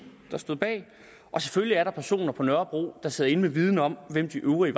der stod bag og selvfølgelig er der personer på nørrebro der sidder inde med viden om hvem de øvrige